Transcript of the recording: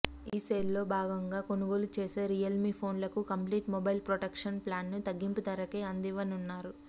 ఈ సేల్లో భాగంగా కొనుగోలు చేసే రియల్మి ఫోన్లకు కంప్లీట్ మొబైల్ ప్రొటెక్షన్ ప్లాన్ను తగ్గింపు ధరకే అందివ్వనున్నారు